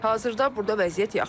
Hazırda burda vəziyyət yaxşıdır.